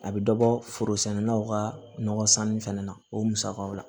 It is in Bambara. A bɛ dɔ bɔ forosɛniw ka nɔgɔ sanni fana na o musakaw la